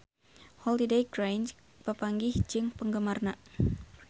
Holliday Grainger papanggih jeung penggemarna